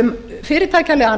um fyrirtækjalegan